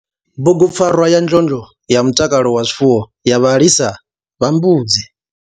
Bugupfarwa ya ndlondlo ya mutakalo wa zwifuwo ya vhalisa vha mbudzi.